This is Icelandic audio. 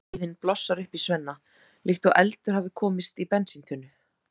Reiðin blossar upp í Svenna líkt og eldur hafi komist í bensíntunnu.